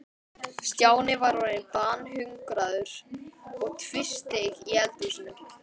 Stjáni var orðinn banhungraður og tvísteig í eldhúsinu.